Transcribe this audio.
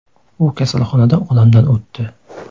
U kasalxonada olamdan o‘tdi.